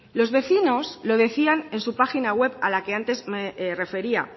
los vecinos lo decían en su página web a la que antes me refería